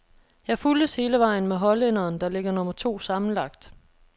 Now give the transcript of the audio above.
Jeg fulgtes hele vejen med hollænderen, der ligger nummer to sammenlagt.